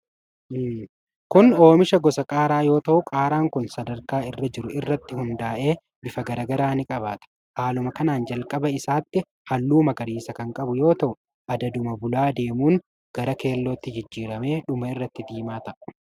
Kun oomisha gosa qaaraa yoo ta'u, qaaraan kun sadarkaa irra jiru irratti hundaa'ee bifa garaa garaa ni qabaata. Haaluma kanaan jalqaba isaatti halluu magariisa kan qabu yoo ta'u, adaduma bulaa adeemuun gara keellotti jijjiramee dhuma irratti diimaa ta'a.